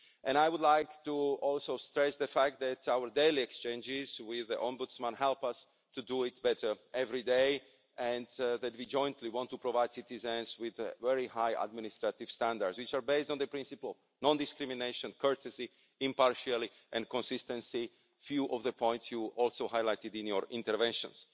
I would like to also stress the fact that our daily exchanges with the Ombudsman help us to do it better every day, and that we jointly want to provide citizens with very high administrative standards, which are based on the principles of non discrimination, courtesy, impartiality and consistency a few of the points you also highlighted in your interventions.